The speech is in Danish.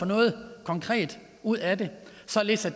noget konkret ud af det således at